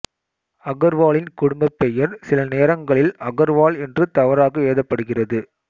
அகர்வாலின் குடும்பப் பெயர் சில நேரங்களில் அக்ரவால் என்று தவறாக எழுதப்படுகிறது